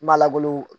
Ma langolon